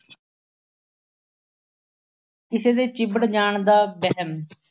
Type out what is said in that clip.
ਕਿਸੇ ਦੇ ਚਿੱਬੜ ਜਾਣ ਦਾ ਵਹਿਮ।